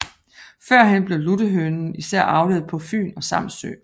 Førhen blev luttehønen især avlet på Fyn og Samsø